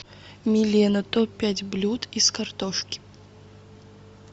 милена топ пять блюд из картошки